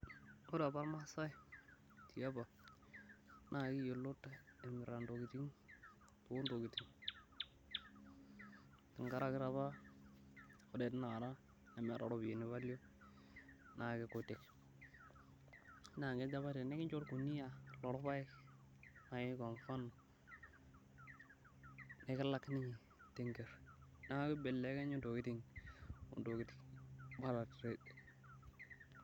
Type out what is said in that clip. Ore apa irmaasai tiapa naa keyiolot emirita ntokiting ontokiting. Tenkaraki taa apa ore tinakata meeta ropiyiani value naa keikutik. Naa kejo apa tinikincho orkuniyia loorpaek, naaji kwa mfano, nikilaki ninye tenker neeku kibelekenye ntokiting. Bater trade.